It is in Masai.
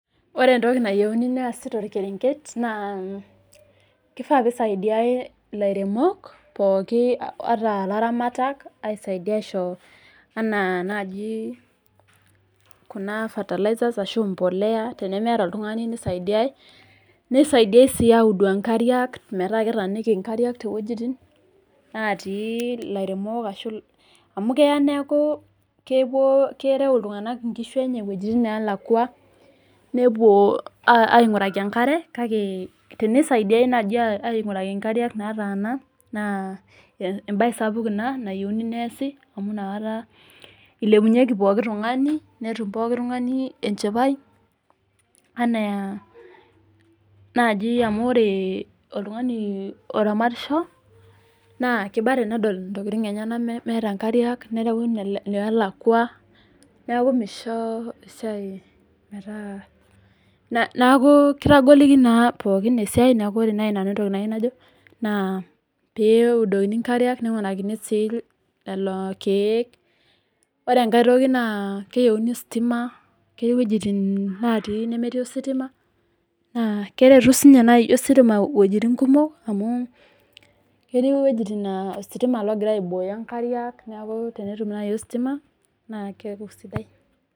Ore entoki nayieu neesi too kerenget naa kifaa pee isaidiai elairemok pookin ataa elaramatak aisaidia najii aishoo enaa najii fertilizers ashu mbolea tenemeta oltung'ani nisaidiai nisaidiai sii audu nkariak metaa ketaniki nkariak ewuejitin netii elairemok amu keya neeku kerew iltung'ana enkishu enye wuejitin nelakua nepuo ainguraki enkare kake tenisaidiai naaji ainguraki nkariak nataana naa embae sapuk ena nayieu nesiii amu enakata elepunyieki pooki tung'ani netum pooki tung'ani enchipai amu ore oltung'ani oramatisho naa kibaa tenedol entokitin enyena metaa nkariak nerewu nelakua neeku kitagoliki naa pookin esiai neeku oree naaji nanu enayieu najo naa pee eudokini nkariak ninguraki sii lelo keek ore sii enkae keyieuni stima ketii wuejitin natii nemetii ositima naa keretu sininye ositima wuejitin kumok amu ketii wuejitin naa ositima ogiraa aiboyo nkariak neeku tenetum najii ositima naa keeku sidai